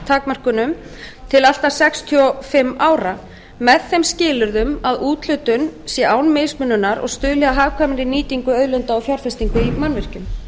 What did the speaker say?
framsalstakmörkunum til allt að sextíu og fimm ára með þeim skilyrðum að úthlutun sé án mismununar og stuðli að hagkvæmri nýtingu auðlinda og fjárfestingu í mannvirkjum